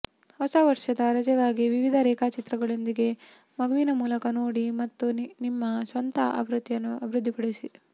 ಹೊಸ ವರ್ಷದ ರಜೆಗಾಗಿ ವಿವಿಧ ರೇಖಾಚಿತ್ರಗಳೊಂದಿಗೆ ಮಗುವಿನ ಮೂಲಕ ನೋಡಿ ಮತ್ತು ನಿಮ್ಮ ಸ್ವಂತ ಆವೃತ್ತಿಯನ್ನು ಅಭಿವೃದ್ಧಿಪಡಿಸಿ